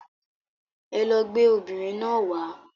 Ẹlọ gbé obìnrin náà wàá.